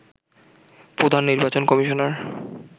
প্রধান নির্বাচন কমিশনার